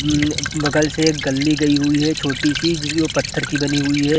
ऊ बगल से एक गल्ली गई हुवी है छोटी सी जो की पत्थर की बनी हुवी है।